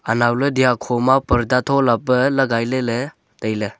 anawley dya kho ma parda thola pa lagai ley ley tai ley.